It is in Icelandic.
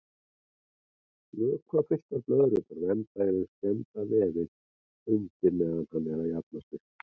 Vökvafylltar blöðrurnar vernda í raun skemmda vefinn undir meðan hann er að jafna sig.